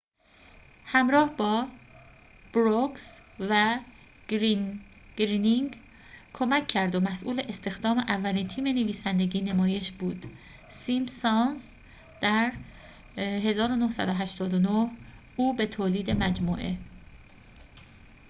در ۱۹۸۹ او به تولید مجموعه simpsons همراه با بروکس و گرینینگ کمک کرد و مسئول استخدام اولین تیم نویسندگی نمایش بود